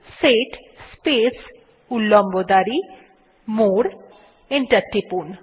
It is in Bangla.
সেট স্পেস উল্লম্ব দাঁড়ি মোরে এবং এন্টার টিপুন